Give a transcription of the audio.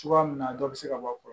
Cogoya min na a dɔw bɛ se ka bɔ a kɔrɔ